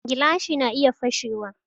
Gilashi na iya fashe wa